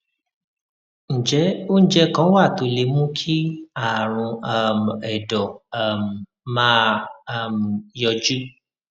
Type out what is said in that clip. ǹjẹ oúnjẹ kan wà tó lè mú kí àrùn um ẹdọ um máa um yọjú